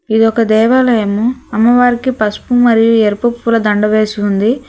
ఇది ఒక దేవాలయము అమ్మవారికి పసుపు మరియు ఎరుపు పుల దండ వేసి ఉంది.